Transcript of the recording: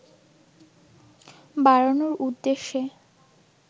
বাড়ানোর উদ্দেশ্যে